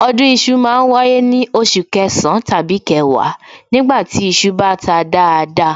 Ọdún iṣu ma ń wáyé ní oṣù kẹsàn-án tàbí kẹwàá nígbà tí iṣu bá ta dáadáa